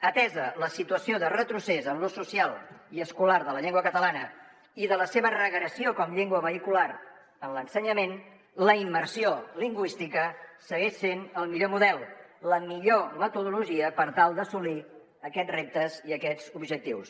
atesa la situació de retrocés en l’ús social i escolar de la llengua catalana i de la seva regressió com a llengua vehicular en l’ensenyament la immersió lingüística segueix sent el millor model la millor metodologia per tal d’assolir aquests reptes i aquests objectius